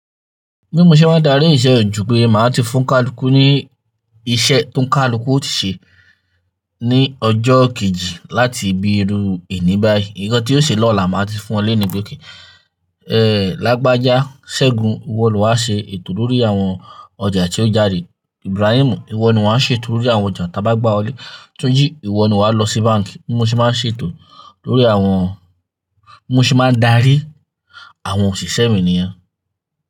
Bimo ṣẹ máa dárí iṣẹ́ ò ju pé màá ti fún kàlùkù ní iṣẹ́ tó ń kàlùkù ó ti ṣe ní ọjọ́ kejì láti bírú èní bá yí. Nǹkan tí ó ṣe lọ́làá màá ti fún ọ lẹ́nì ibi òkè. Ẹ̀ lágbájá, Ṣẹ́gun, ìwọ ni wàá ṣe ètò lórí àwọn ọjà tí ó jáde. Ibrahim, ìwọ ni wàá ṣe ètò lórí àwọn ọjà ta bá gbà ọlé. Túnjí, ìwọ ni wà á lọ sí báǹkì. Bimo ṣẹ máa ṣe ètò lórí àwọn Bimo ṣẹ máa darí àwọn òṣìṣẹ́ mi nìyẹn.